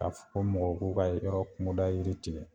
K'a f kɔ mɔgɔ k'u ka yɔrɔ kuŋoda yiri tigɛ